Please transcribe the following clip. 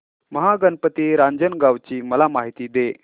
महागणपती रांजणगाव ची मला माहिती दे